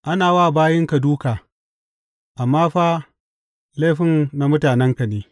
Ana wa bayinka dūka, amma fa laifin na mutanenka ne.